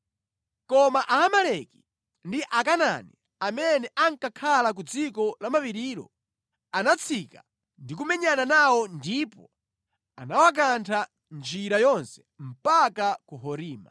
Koma Aamaleki ndi Akanaani amene ankakhala ku dziko lamapirilo anatsika ndi kumenyana nawo ndipo anawakantha mʼnjira yonse mpaka ku Horima.